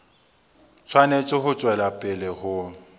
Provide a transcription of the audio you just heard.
tshwanetse ho tswela pele ho